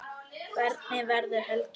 Hvernig verður helgin?